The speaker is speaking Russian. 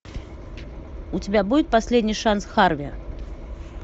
у тебя будет последний шанс харви